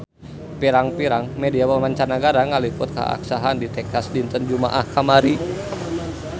Pirang-pirang media mancanagara ngaliput kakhasan di Texas dinten Jumaah kamari